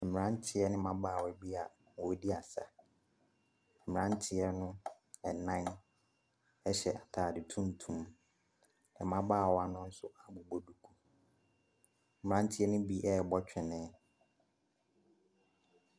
Mmarantie ne mbaawa be a ɔmmu di asa, mmirantieɛ ɛnan ɛhyɛ ataade tuntum, m'babaawa no so abubɔ duku. Mmirantieɛ ni bi ɛbɔ twenee.